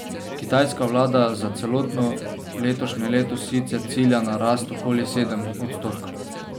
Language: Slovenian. Kitajska vlada za celotno letošnje leto sicer cilja na rast okoli sedem odstotkov.